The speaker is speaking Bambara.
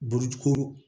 Burukuru